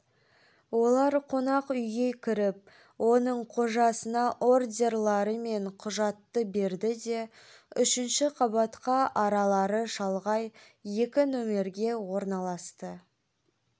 олар қонақ үйге кіріп оның қожасына ордерлары мен құжатты берді де үшінші қабатқа аралары шалғай екі нөмерге орналасты